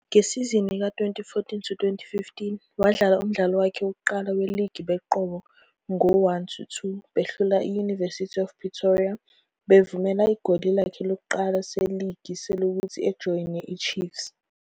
Ngesizini ka-2014-15 wadlala umdlalo wakhe wokuqala weligi benqoba ngo-1-2 behlula i- University of Pretoria bevumela igoli lakhe lokuqala seligi selokhu ejoyine iChiefs.